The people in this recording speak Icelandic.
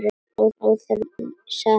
Óþarfi, sagði hann.